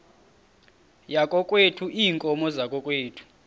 yakokwethu iinkomo zakokwethu